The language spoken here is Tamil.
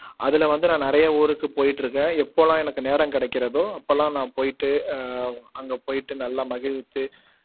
அதுல வந்து நான் நிறைய ஊருக்கு போயிட்டுருக்கேன் எப்போலாம் எனக்கு நேரம் கிடைக்கிறதோ அப்போலாம் நான் போயிட்டு அஹ் அங்க போயிட்டு நல்லா மகிழ்த்து